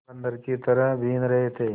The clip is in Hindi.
बंदर की तरह बीन रहे थे